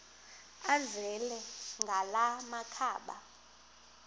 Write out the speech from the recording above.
azele ngala makhaba